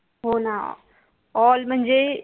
हो ना all म्हणजे कुठेच